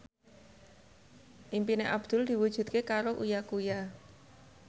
impine Abdul diwujudke karo Uya Kuya